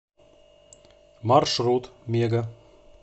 маршрут мега